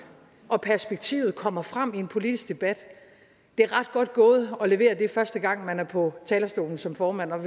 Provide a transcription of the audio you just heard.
og perspektivet kommer frem i en politisk debat det er ret godt gået at levere det første gang man er på talerstolen som formand